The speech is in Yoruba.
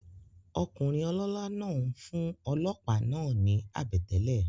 Okùnrin olólá náà n fún olòópá náà ni àbètélè